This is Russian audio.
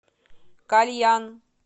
кальян